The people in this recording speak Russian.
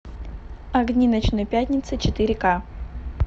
огни ночной пятницы четыре ка